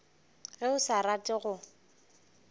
ge o sa rate go